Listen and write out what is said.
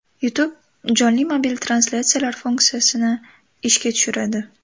YouTube jonli mobil translyatsiyalar funksiyasini ishga tushiradi.